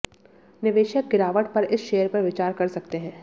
निवेशक गिरावट पर इस शेयर पर विचार कर सकते हैं